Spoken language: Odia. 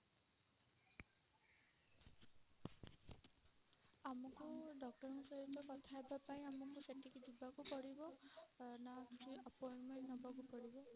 ଆମକୁ doctor ଙ୍କ ସହିତ କଥା ହବା ପାଇଁ ଆମକୁ ସେଠିକି ଯିବାକୁ ପଡିବ ନା କିଛି appointment ନବାକୁ ପଡିବ?